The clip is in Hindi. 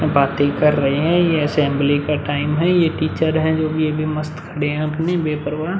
बाते कर रहे हैं। ये असेंबली का टाइम है। ये टीचर हैं जो भी ये भी मस्त खड़े हैं बेपरवाह।